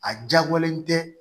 A jagoyalen tɛ